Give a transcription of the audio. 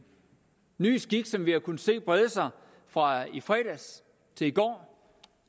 ny skik som vi har kunnet se brede sig fra i fredags